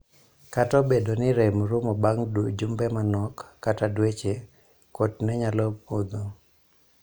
Kata obedo ni rem rumo bang' jumbe manok kata dweche ,kuot ne nyalo budho.